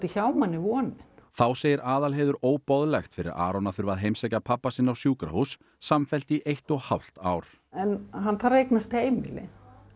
hjá manni vonin þá segir Aðalheiður óboðlegt fyrir Aron að þurfa að heimsækja pabba sinn á sjúkrahús samfellt í eitt og hálft ár hann þarf að eignast heimili